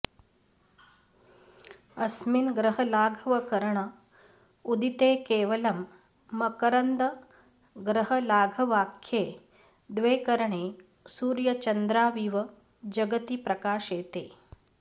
अस्मिन् ग्रहलाघवकरण उदिते केवलं मकरन्दग्रहलाघवाख्ये द्वे करणे सूर्यचन्द्राविव जगति प्रकाशेते